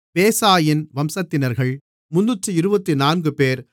பேசாயின் வம்சத்தினர்கள் 324 பேர்